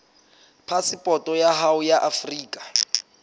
phasepoto ya hao ya afrika